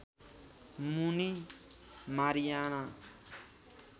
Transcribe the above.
Muni Mariana